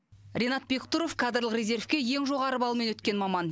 ринат бектұров кадрлық резервке ең жоғары балмен өткен маман